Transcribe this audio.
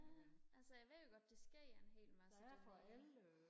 ja altså jeg ved jo godt der sker en hel masse dernede